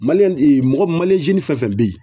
mɔgɔ fɛn fɛn be ye